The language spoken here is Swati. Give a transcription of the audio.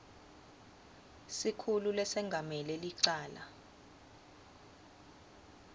sikhulu lesengamele licala